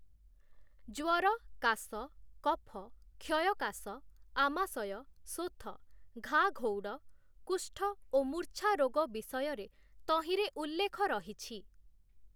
ଜ୍ୱର, କାଶ, କଫ, କ୍ଷୟକାଶ, ଆମାଶୟ, ଶୋଥ, ଘା ଘଉଡ଼, କୁଷ୍ଠ ଓ ମୂର୍ଚ୍ଛା ରୋଗ ବିଷୟରେ ତହିଁରେ ଉଲ୍ଲେଖ ରହିଛି ।